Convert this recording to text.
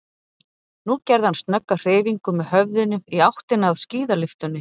Nú gerði hann snögga hreyfingu með höfðinu í áttina að skíðalyftunni.